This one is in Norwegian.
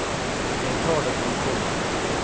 Jeg tar det som det kommer.